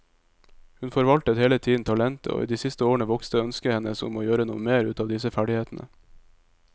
Hun forvaltet hele tiden talentet, og i de siste årene vokste ønsket hennes om å gjøre noe mer ut av disse ferdighetene.